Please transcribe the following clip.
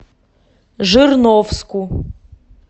жирновску